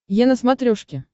е на смотрешке